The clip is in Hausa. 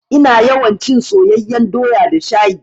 Ina yawan cin soyeyyan doya da shayi.